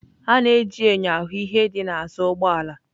A na-eji enyo ahụ hụ ihe dị n'azụ ụgbọ ala.